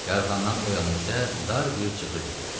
Yarğandan o yana isə dar bir cığır gedirdi.